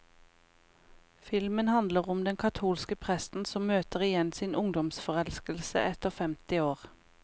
Filmen handler om den katolske presten som møter igjen sin ungdomsforelskelse etter femti år.